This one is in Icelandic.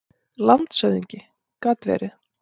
LANDSHÖFÐINGI: Gat verið.